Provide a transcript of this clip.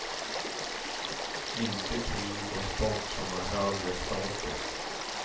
Inte krig och sport som har högre status.